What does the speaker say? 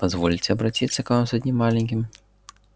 позвольте обратиться к вам с одним маленьким